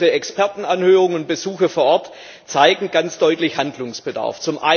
Unsere Expertenanhörungen und Besuche vor Ort zeigen ganz deutlich Handlungsbedarf.